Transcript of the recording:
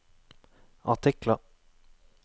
artikler